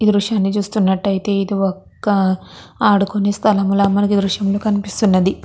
ఈ దృశ్యం లో చుస్తునారు అయితే ఏది ఒక ఆడుకునే స్థలం ల మనకి ఈ దృశ్యం లో కనిపిస్తున్నది.